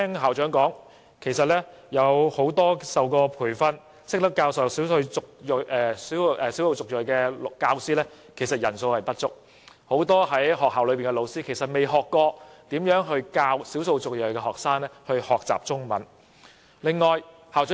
校長提到，曾接受培訓並懂得教授少數族裔學生的教師人數不足，學校很多老師其實沒有受過教授少數族裔學生學習中文的培訓。